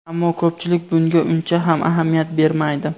Ammo ko‘pchilik bunga uncha ham ahamiyat bermaydi.